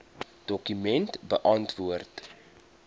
dokument beantwoord